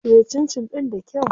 Soya cincin ɗin da kyau.